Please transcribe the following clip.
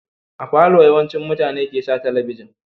A falo yawancin mutane ke sa talabijin